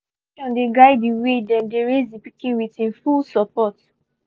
them um make um choices wey dey reflect them needs no be society look on marriage roles